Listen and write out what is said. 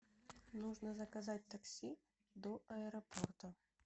нужно заказать такси до аэропорта